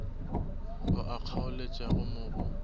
ao a kgaoletšago mo go